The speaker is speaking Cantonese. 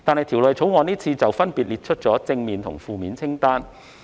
《條例草案》就此分別列出正面和負面清單。